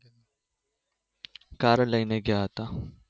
કારે લઈને ગયા હતા